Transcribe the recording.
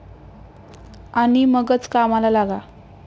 आणि मगच कामाला लागा.